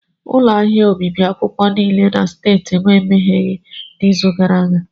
Ụlọ ahịa obibi akwụkwọ niile dị na streeti m emegheghị n'izu gara aga.